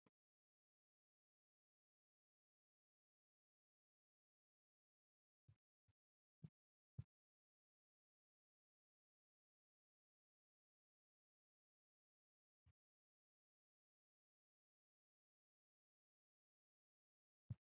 tini guma intanni laaloati dadallanni hee'noonniti muuze, papayu, hababe , hoophe , awukaato, mango na wlootuno hakkore labbannori heedhanna noore duunne hee'nooonni .